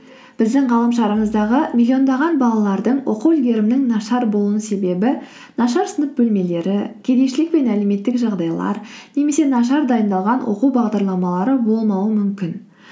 біздің ғаламшарымыздағы миллиондаған балалардың оқу үлгерімінің нашар болуының себебі нашар сынып бөлмелері кедейшілік пен әлеуметтік жағдайлар немесе нашар дайындалған оқу бағдарламалары болмауы мүмкін